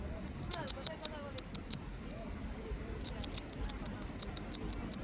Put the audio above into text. চুপ কর, কোথায় কথা বলেছিলিস? তুই তো জানিস না, কথা বলেছিস তুই,